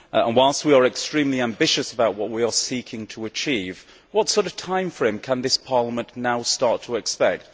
Whilst we are extremely ambitious about what we are seeking to achieve, what sort of time frame can this Parliament now start to expect?